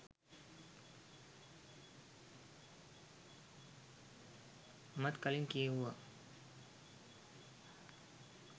මමත් කලින් කියෙව්වා.